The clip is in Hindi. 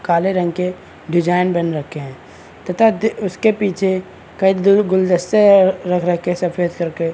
काले रंग के डिजाइन बन रखे हैं तथा द उसके पीछे कई तरह के गुलदस्ते है रख रखे है सफ़ेद कलर के --